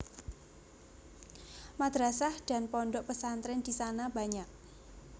Madrasah dan pondok pesantren di sana banyak